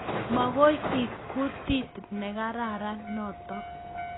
Makoi ek kutit nekararan notok